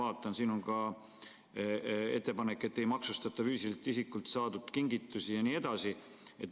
Ma vaatan, et siin on ka ettepanek, et ei maksustata füüsiliselt isikult saadud kingitusi jne.